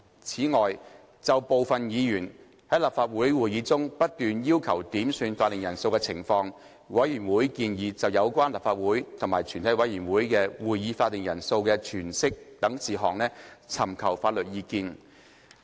此外，就部分議員在立法會會議中不斷要求點算法定人數的情況，委員會建議就有關立法會及全體委員會的會議法定人數的詮釋等事宜，尋求法律意見。